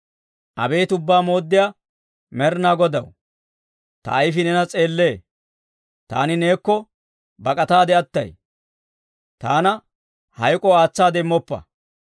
Abeet Ubbaa Mooddiyaa Med'inaa Godaw, ta ayifii neena s'eellee; taani neekko bak'ataade attay; taana hayk'oo aatsaade immoppa.